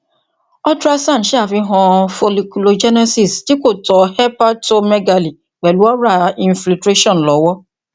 ultrasound ṣe afihan folliculogenesis ti ko tọ hepatomegaly pẹlu ora infiltration ìrànlọwọ